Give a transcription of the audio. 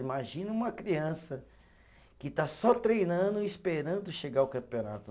Imagina uma criança que está só treinando e esperando chegar ao campeonato.